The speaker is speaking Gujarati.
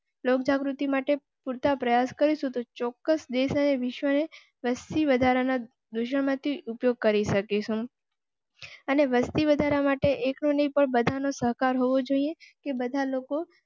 લોક જાગૃતિ માટે પૂર તા પ્રયાસ કરેં તો ચોક્કસ દેશ ને વિશ્વની વસ્તી વધારા ઉપયોગ કરી શકે. વસતી વધારા માટે એક નિકોલ બધા નો સહકાર હોવો જોઈએ કે બધા લોકો